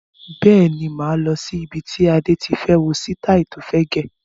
Bẹ́ẹ̀ni, máa lọ sí ibi tí Adé tí fẹ́ wo sitai tó fẹ́ gẹ̀.